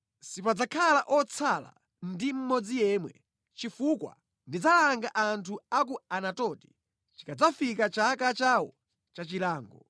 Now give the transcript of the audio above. Sipadzakhala otsala ndi mmodzi yemwe, chifukwa ndidzalanga anthu a ku Anatoti chikadzafika chaka chawo cha chilango.’ ”